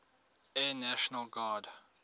air national guard